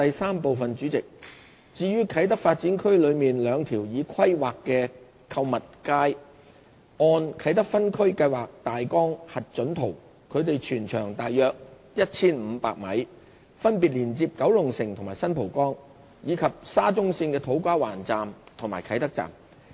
三主席，至於啟德發展區內兩條已規劃的地下購物街，按"啟德分區計劃大綱核准圖"，它們全長約 1,500 米，分別連接九龍城和新蒲崗，以及沙中線的土瓜灣站和啟德站。